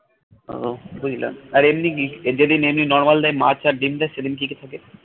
উহ বুঝলাম আর এমনি কি যেদিন এমনি normal দেয় মাছ আর ডিম দেয় সেদিন কি কি থাকে